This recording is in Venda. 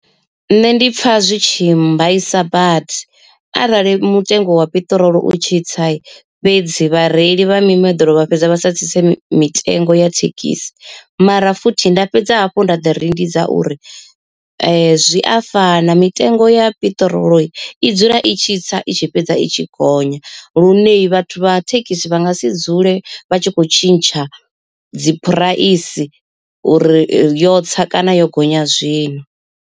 Nṋe ndi pfha zwi tshi mbaisa badi arali mutengo wa piṱirolo u tshitsa fhedzi vhareili vha mimoḓoro vha fhedza vha sa tsitse mitengo ya thekhisi, mara futhi nda fhedza hafhu nda ḓi rindidza uri zwi a fana mitengo ya piṱirolo i dzula i tshi tsa i tshi fhedza i tshi gonya, lune vhathu vha thekhisi vha nga si dzule vha tshi kho tshintsha dzi phuraisi uri yo tsa kana yo gonya zwino.